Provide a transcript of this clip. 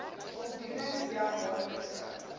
voldoening via maandelikse